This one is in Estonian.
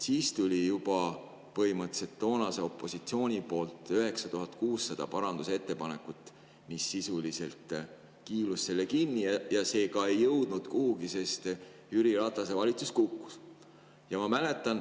Siis tuli juba põhimõtteliselt toonase opositsiooni poolt 9600 parandusettepanekut, mis sisuliselt kiilusid selle kinni ja see ka ei jõudnud kuhugi, sest Jüri Ratase valitsus kukkus.